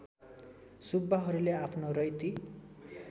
सुब्बाहरूले आफ्नो रैती